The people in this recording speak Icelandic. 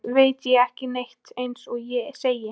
Annars veit ég ekki neitt eins og ég segi.